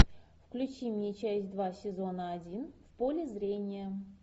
включи мне часть два сезона один в поле зрения